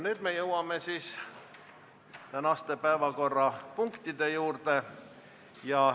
Nüüd jõuame tänaste päevakorrapunktide juurde.